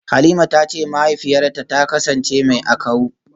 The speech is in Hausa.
Halima tace mahaifiyarta ta kasance mai akawu.